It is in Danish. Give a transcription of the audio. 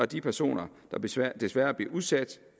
de personer der desværre desværre bliver udsat